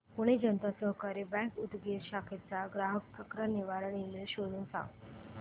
Pune Janata Sahakari bank Udgir शाखेचा ग्राहक तक्रार निवारण ईमेल शोधून सांग